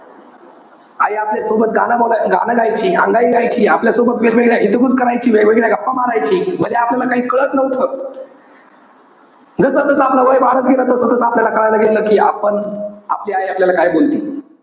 आई आपल्यासोबत गाणं ब~ गाणं गायची, अंगाई गायची. आपल्यासोबत वेगवेळ्या हितगुज करायची. वेगवेगळ्या गप्पा मारायची. भले आपल्याला काही कळत नव्हतं. जस जस आपलं वय वाढत गेलं तस तस आपलयाला कळायला गेलं कि आपण, आपली आई आपल्याला काय बोलते.